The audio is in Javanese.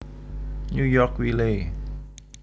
New York Wiley